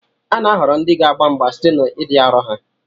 A na-ahọrọ ndị ga-agba mgba site n'ịdị arọ ha